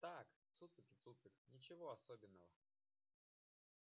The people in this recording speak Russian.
так цуцик и цуцик ничего особенного